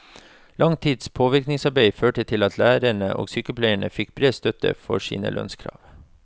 Lang tids påvirkningsarbeid førte til at lærere og sykepleiere fikk bred støtte for sine lønnskrav.